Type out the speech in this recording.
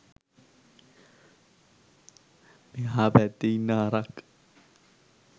මෙහා පැත්තෙ ඉන්න හරක්